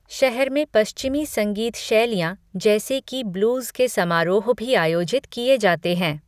शहर में पश्चिमी संगीत शैलियाँ जैसे कि ब्लूज़ के समारोह भी आयोजित किए जाते हैं।